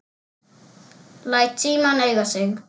Læt símann eiga sig.